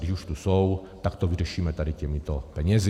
Když už tu jsou, tak to vyřešíme tady těmito penězi.